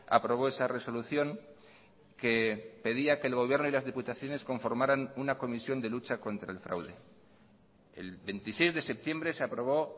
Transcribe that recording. aprobó esa resolución que pedía que el gobierno y las diputaciones conformaran una comisión de lucha contra el fraude el veintiséis de septiembre se aprobó